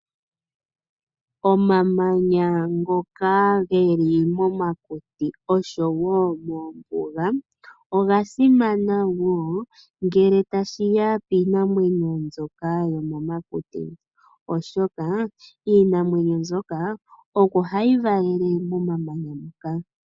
Omamanya ngoka geli momakuti osho wo mombuga oga simana wo ngele tashiya piinamwneyo mbyoka yomomakuti oshoka iinamwneyo mbyoka omo hayi valele momamanya moka.